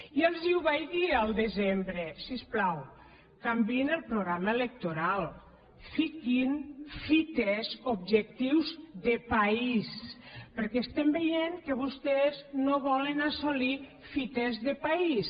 ja els ho vaig dir al desembre si us plau canviïn el programa electoral fiquin fites objectius de país perquè estem veient que vostès no volen assolir fites de país